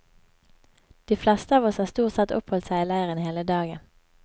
De fleste av oss har stort sett oppholdt seg i leiren hele dagen.